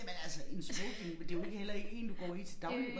Jamen altså en smoking det jo ikke heller ikke én du går i til daglig